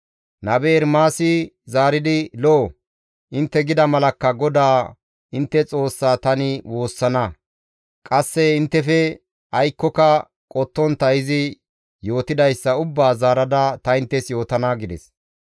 Nabe Ermaasi zaaridi, «Lo7o; intte gida malakka GODAA intte Xoossaa tani woossana; qasse inttefe aykkoka qottontta izi yootidayssa ubbaa zaarada ta inttes yootana» gides.